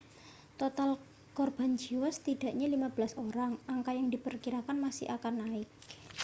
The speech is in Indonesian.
total korban jiwa sedikitnya 15 orang angka yang diperkirakan masih akan naik